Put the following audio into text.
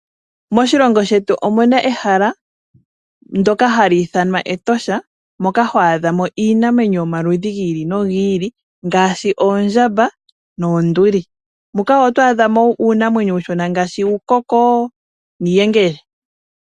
Moshilongo shetu omu na ehala ndyoka hala ithanwa Etosha moka ho adha mo iinamwenyo yomaludhi gi ili nogi ili ngaashi oondjamba noonduli. Ohamu a dhika wo uunamwenyo uushona ngaashi uukoko nuuyengele.